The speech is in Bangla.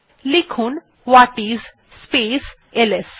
লিখুন ওয়াটিস স্পেস এলএস